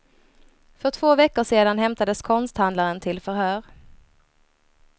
För två veckor sedan hämtades konsthandlaren till förhör.